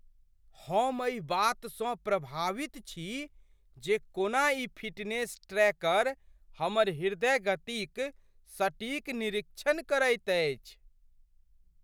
हम एहि बातसँ प्रभावित छी जे कोना ई फिटनेस ट्रैकर हमर हृदय गतिक सटीक निरीक्षण करैत अछि।